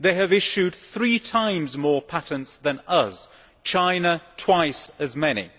They have issued three times more patents than us, and China twice as many.